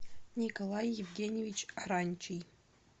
николай евгеньевич ранчий